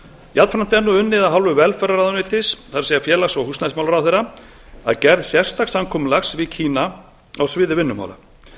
jafnframt er unnið af hálfu velferðarráðuneytis það er félags og húsnæðismálaráðherra að gerð sérstaks samkomulags við kína á sviði vinnumála